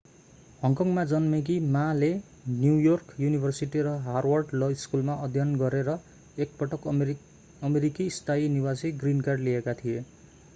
हङकङमा जन्मेकी माmaले न्यू योर्क युनिभर्सिटी र हार्वर्ड ल स्कूलमा अध्ययन गरे र एक पटक अमेरिकी स्थायी निवासी ग्रीन कार्ड” लिएका थियो।